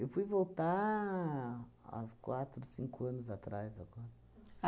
Eu fui voltar há quatro, cinco anos atrás agora.